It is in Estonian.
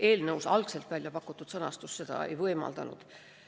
Eelnõus algselt välja pakutud sõnastus seda ei võimaldanud.